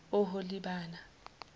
oholibana